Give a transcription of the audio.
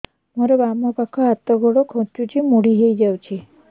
ମୋର ବାମ ପାଖ ହାତ ଗୋଡ ଖାଁଚୁଛି ମୁଡି ହେଇ ଯାଉଛି